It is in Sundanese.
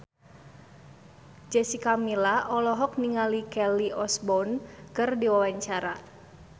Jessica Milla olohok ningali Kelly Osbourne keur diwawancara